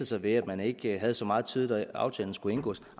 sig ved at man ikke havde så meget tid da aftalen skulle indgås